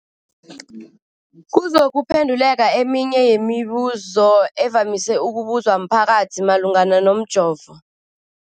kuzokuphe nduleka eminye yemibu zo evamise ukubuzwa mphakathi malungana nomjovo.